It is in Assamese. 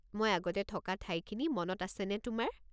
মই আগতে থকা ঠাইখিনি মনত আছেনে তোমাৰ?